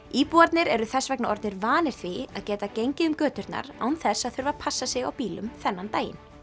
íbúarnir eru þess vegna orðnir vanir því að geta gengið um göturnar án þess að þurfa að passa sig á bílum þennan daginn